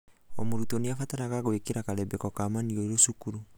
o mũrutwo nĩabataragwo gũĩkira karembeko ga maniũrũ cukuru.